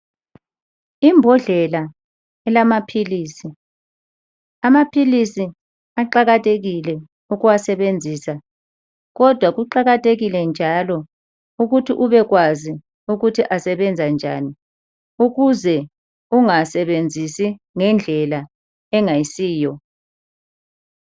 Imbodlela elamaphilisi. Amaphilisi aqakathekile ukuwasebenzisa kodwa kuqakathekile njalo ukuthi ubekwazi ukuthi asebenzani ukuze ungasebenzisi ngendlela engayisiyo.